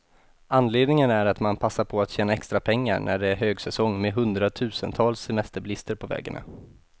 Anledningen är att man passar på att tjäna extra pengar, när det är högsäsong med hundratusentals semesterbilister på vägarna.